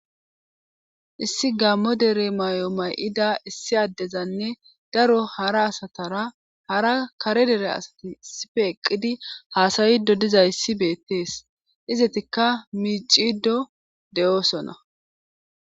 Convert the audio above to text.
issi gammo dere may7o may7ida issi addezanne daro hara asatara hara kare dere asati issife eqqidi haasayido dizayssi beettees izetikka miicido de7oosona